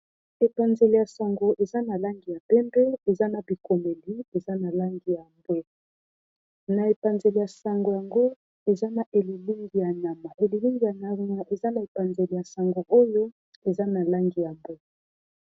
Epanzeli ya sango ,eza na langi ya pembe eza na bikomeli langi ya aeza na epanzeli ya sango oyo eza na langi ya bwe